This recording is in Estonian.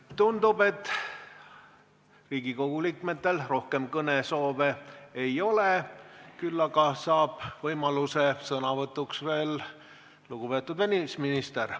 Tundub, et Riigikogu liikmetel rohkem kõnesoovi ei ole, küll aga saab võimaluse sõnavõtuks lugupeetud välisminister.